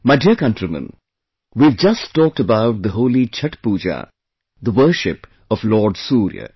My dear countrymen, we have just talked about the holy Chhath Puja, the worship of Lord Surya